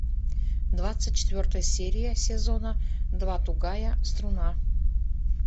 двадцать четвертая серия сезона два тугая струна